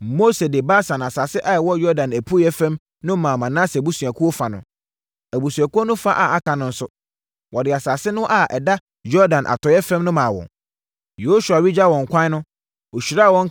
Mose de Basan asase a ɛwɔ Yordan apueeɛ fam no maa Manase abusuakuo fa no. Abusuakuo no fa a aka no nso, wɔde asase no fa a ɛda Yordan atɔeɛ fam no maa wɔn. Yosua regya wɔn kwan no, ɔhyiraa wɔn,